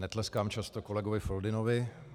Netleskám často kolegovi Foldynovi.